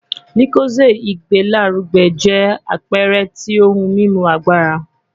Lucozade igbelaruge jẹ apẹẹrẹ ti ohun mimu agbara